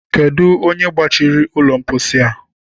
Kedụ onye gbachiri ụlọ mposi a?